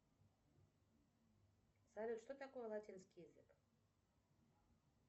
салют что такое латинский язык